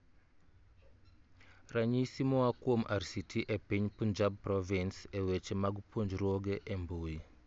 Ranyisi moa kuom RCT e piny Punjab Province e weche mag puonjruoge e mbuyi